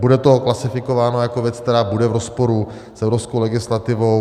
Bude to klasifikováno jako věc, která bude v rozporu s evropskou legislativou.